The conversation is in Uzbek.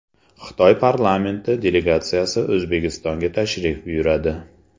Xitoy parlamenti delegatsiyasi O‘zbekistonga tashrif buyuradi.